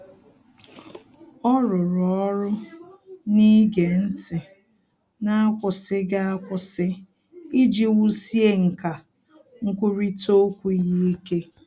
Ọ́ rụ́rụ́ ọ́rụ́ n’ígé ntị́ n’ákwụ́sị́ghị́ ákwụ́sị́ iji wùsíé nkà nkwurịta okwu ya ike.